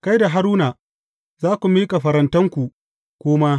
Kai da Haruna za ku miƙa farantanku, ku ma.